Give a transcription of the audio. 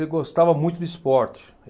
Ele gostava muito de esporte.